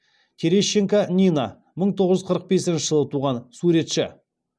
терещенко нина мың тоғыз жүз қырық бесінші жылы туған суретші